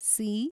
C